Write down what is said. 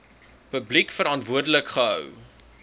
publiek verantwoordelik gehou